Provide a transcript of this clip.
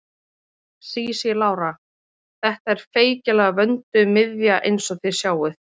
Sísí Lára: Þetta er feikilega vönduð miðja eins og þið sjáið.